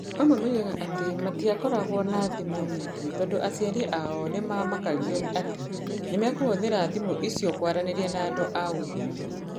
Amwe moigaga atĩ matiakoragwo na thimũ nyingĩ tondũ aciari ao nĩ maamakagio atĩ nĩ mekũhũthĩra thimũ icio kwaranĩria na andũ a ndũire.